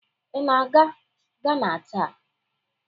Ị na-aga Gana taa?